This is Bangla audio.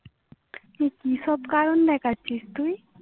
তুই কি সব কারণ দেখাচ্ছিস তুই